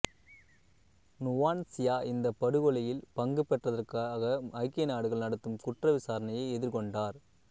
Nuwan Chea இந்தப் படுகொலையில் பங்குபெற்றதற்காக ஐக்கிய நாடுகள் நடத்தும் குற்றவிசாரணையை எதிர்கொண்டார்